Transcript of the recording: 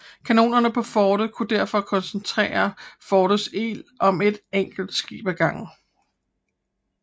Kanonererne på fortet kunne derfor koncentrere fortets ild om et enkelt skib ad gangen